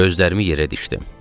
Gözlərimi yerə dikdim.